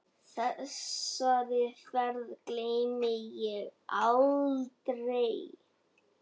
Þessari ferð gleymi ég aldrei.